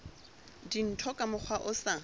dintho ka mokgwa o sa